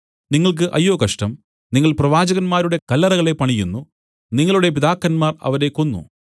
നിങ്ങൾക്ക് അയ്യോ കഷ്ടം നിങ്ങൾ പ്രവാചകന്മാരുടെ കല്ലറകളെ പണിയുന്നു നിങ്ങളുടെ പിതാക്കന്മാർ അവരെ കൊന്നു